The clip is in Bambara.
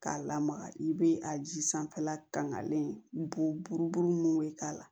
K'a lamaga i bɛ a ji sanfɛla kangalen bɔ buruburu mun bɛ k'a la